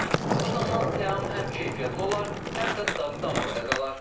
Bu zaman təam həm keyfiyyətli olar, həm də dadı damaqda qalar.